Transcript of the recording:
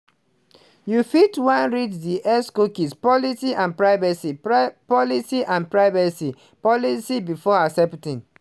you fit wan read di xcookie policyand privacy policy and privacy policybefore accepting.